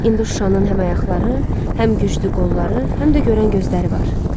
İndi Şuşanın həm ayaqları, həm güclü qolları, həm də görən gözləri var.